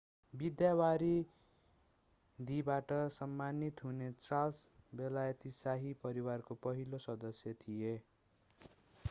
विद्यावारिधीबाट सम्मानित हुने चार्ल्स बेलायती शाही परिवारको पहिलो सदस्य थिए